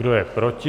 Kdo je proti?